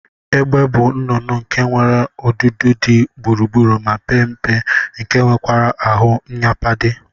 Egbe bu nnụnụ nke nwere ọdudu di gburugburu ma pe mpe nke nwekwara ahu nyapade.